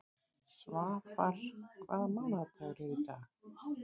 Svafar, hvaða mánaðardagur er í dag?